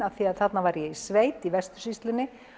því þarna var ég í sveit í vestursýslunni